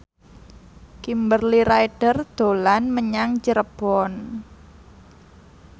Kimberly Ryder dolan menyang Cirebon